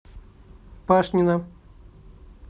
пашнина